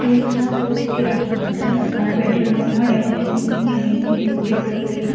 ये देखिये यहाँ दो सिक्यूरिटी गार्ड हैं। गार्ड बैठे हुए हैं यहाँ। डेकोरेशन भी कितनी अमेजिंग कितनी ब्यूटीफुल लग रही है ना।